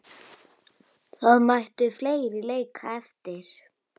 Það mættu fleiri leika eftir.